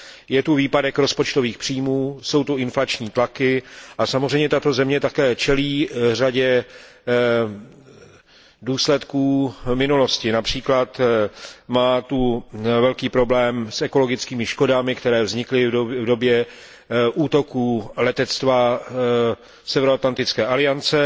Je zde výpadek rozpočtových příjmů, jsou zde inflační tlaky a samozřejmě tato země také čelí řadě důsledků minulosti, např. má velký problém s ekologickými škodami, které vznikly v době útoků letectva Severoatlantické aliance.